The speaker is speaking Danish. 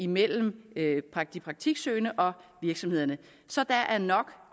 mellem de praktiksøgende og virksomhederne så der er nok